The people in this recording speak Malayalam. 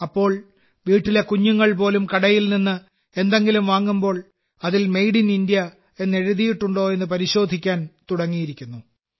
ഇപ്പോൾ വീട്ടിലെ കുഞ്ഞുങ്ങൾ പോലും കടയിൽ നിന്ന് എന്തെങ്കിലും വാങ്ങുമ്പോൾ അതിൽ മെയ്ഡ് ഇൻ ഇന്ത്യ എന്ന് എഴുതിയിട്ടുണ്ടോ എന്ന് പരിശോധിക്കാൻ തുടങ്ങിയിരിക്കുന്നു